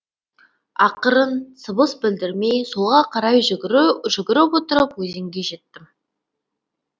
ақырын сыбыс білдірмей солға қарай жүгіріп отырып өзенге жеттім